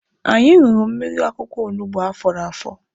Anyị ṅụrụ mmiri akwụkwọ olugbo afọrọ afọ.